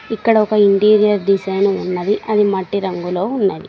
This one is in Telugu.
ఇక్కడ ఒక ఇంటీరియర్ డిజైన్ ఉన్నది అది మట్టి రంగులో ఉన్నది.